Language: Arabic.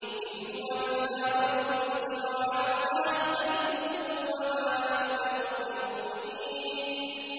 إِنْ هُوَ إِلَّا رَجُلٌ افْتَرَىٰ عَلَى اللَّهِ كَذِبًا وَمَا نَحْنُ لَهُ بِمُؤْمِنِينَ